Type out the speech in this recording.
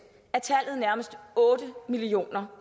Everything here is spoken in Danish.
er tallet nærmest otte million